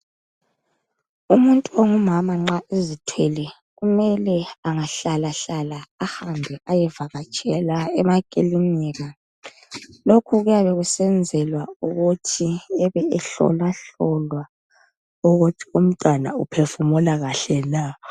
Umuntu ongumama nxa ezithwele kumele angahlalahlala ahambe ayevakatshela emakilinika. Lokhu kuyabe kusenzelwa ukuthu ebe ehlolwahlolwa ukuthi umntwana uphefumula kahle na.